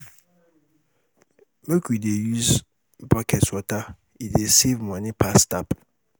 Make we dey use bucket water, e dey save money pass tap.